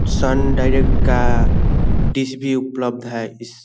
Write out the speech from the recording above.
सन Direct का dish भी उपलब्ध है इस --